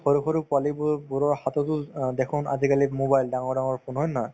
সৰু সৰু পোৱালিবোৰ বোৰৰ হাততো অ দেখুন আজিকালি mobile ডাঙৰ ডাঙৰ phone হয় নে নহয়